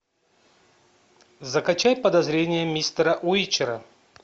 закачай подозрения мистера уичера